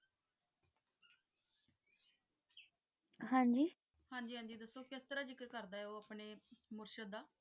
ਹਾਂਜੀ ਹਾਂਜੀ ਹਾਂਜੀ ਦਸੋ ਕਿਸ ਤਰਹ ਜ਼ਿਕਰ ਕਰਦਾ ਆਯ ਊ ਅਪਨੇ ਮੁਰਸ਼ਦ ਦਾ